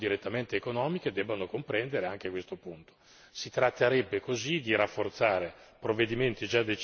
Si tratterebbe così di rafforzare provvedimenti già decisi dal Parlamento e in ogni caso di renderli coerenti.